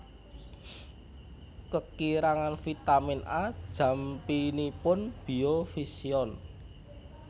Kekirangan vitamin A jampinipun biovision